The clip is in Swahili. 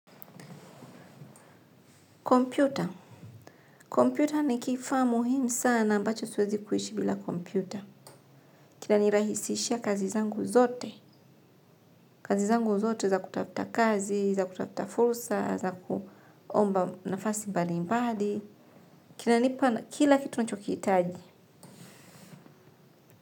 Kompyuta. Kompyuta ni kifaa muhimu sana ambacho siwezi kuishi bila kompyuta. Kinanirahisishia kazi zangu zote. Kazi zangu zote za kutafuta kazi, za kutafuta fursa, za kuomba nafasi mbali mbali. Kinanipa kila kitu ninachokihitaji.